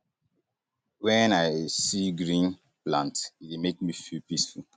wen i see green see green plants e dey make me feel peaceful